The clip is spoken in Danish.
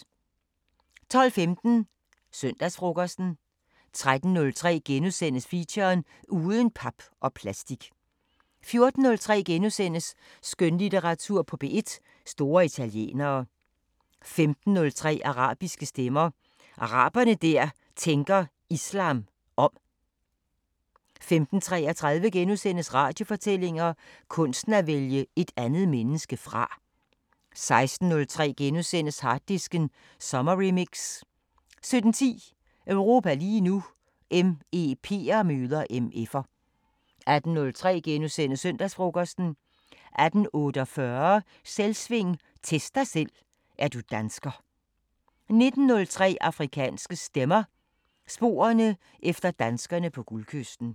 12:15: Søndagsfrokosten 13:03: Feature: Uden pap og plastik * 14:03: Skønlitteratur på P1: Store italienere * 15:03: Arabiske Stemmer: Arabere der tænker islam om 15:33: Radiofortællinger: Kunsten at vælge et andet menneske fra * 16:03: Harddisken sommerremix * 17:10: Europa lige nu: MEP'er møder MF'er 18:03: Søndagsfrokosten * 18:48: Selvsving – Test dig selv: Er du dansker 19:03: Afrikanske Stemmer: Sporerne efter danskerne på Guldkysten